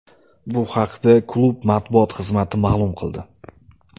Bu haqda klub matbuot xizmati ma’lum qildi.